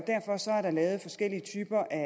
der lavet forskellige typer af